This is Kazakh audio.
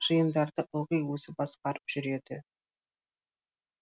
жиындарды ылғи өзі басқарып жүреді